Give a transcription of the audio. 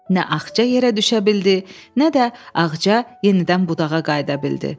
Nə Axça yerə düşə bildi, nə də Ağca yenidən budağa qayıda bildi.